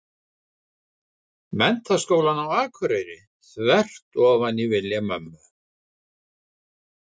Menntaskólann á Akureyri, þvert ofan í vilja mömmu.